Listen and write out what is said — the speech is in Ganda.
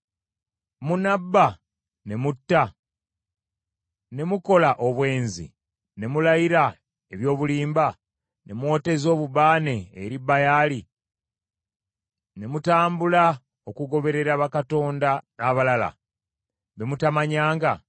“Munabba ne mutta, ne mukola obwenzi ne mulayira eby’obulimba, ne mwoteza obubaane eri Baali, ne mutambula okugoberera bakatonda abalala be mutamanyanga;